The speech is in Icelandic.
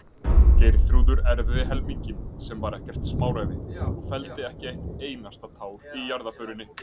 Geirþrúður erfði helminginn, sem var ekkert smáræði, og felldi ekki eitt einasta tár í jarðarförinni.